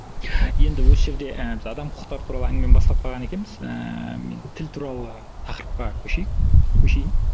енді осы жерде і біз адам құқықтары туралы әңгімені бастап қалған екенбіз ііі мен тіл туралы тақырыпқа көшейік көшейін